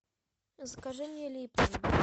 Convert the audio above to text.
закажи мне липтон